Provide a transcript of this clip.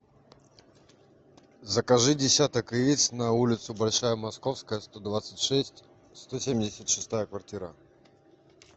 закажи десяток яиц на улицу большая московская сто двадцать шесть сто семьдесят шестая квартира